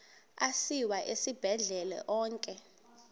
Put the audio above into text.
asiwa esibhedlele onke